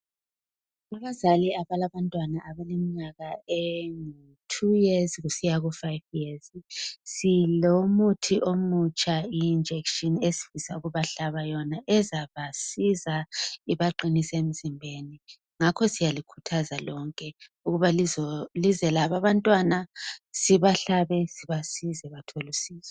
Abazali abalabantwana abaleminyaka ele 2 years kusiya ku 5 years silomuthi omutsha injection esifisa ukubahlaba yona ezabasiza ibaqinise emzimbeni ngakho syalikhuthaza lonke ukuba lizo hlabisa abantwana sibahlabe sibasize bathole usizo .